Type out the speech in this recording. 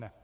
Ne.